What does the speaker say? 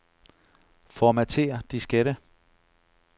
Formatér diskette.